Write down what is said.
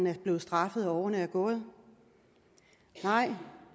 er blevet straffet og årene er gået nej